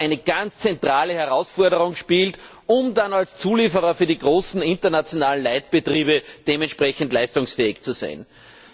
eine ganz zentrale Herausforderung darstellt, damit sie dann als Zulieferer für die großen internationalen Leitbetriebe dementsprechend leistungsfähig sein können.